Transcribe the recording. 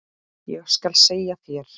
Ég skal segja þér